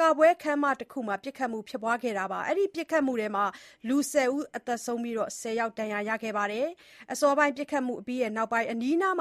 ကပွဲခန်းမတခုမှာ ပစ်ခတ်မှုဖြစ်ပွါးခဲ့တာကြောင့် လူ ၁၀ ယောက် သေဆုံးပြီး ၁၀ ယောက် ဒဏ်ရာရခဲ့ပါတယ်။ အစောပိုင်း ပစ်ခတ်မှုအပြီးနောက် အနီးနား